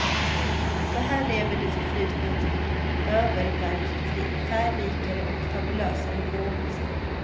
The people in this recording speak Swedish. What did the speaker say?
För här lever det förflutna ett öververkligt liv, färgrikare och fabulösare än någonsin.